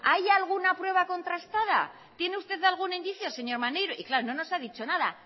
hay alguna prueba contrastada tiene usted algún indicio señor maneiro y claro no nos ha dicho nada